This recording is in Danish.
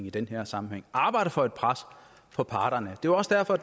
i den her sammenhæng arbejder for et pres på parterne det var også derfor